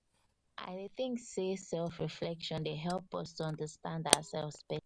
i dey think sey self reflection dey help us to understand oursef